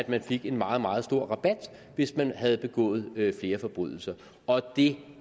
man fik en meget meget stor rabat hvis man havde begået flere forbrydelser og det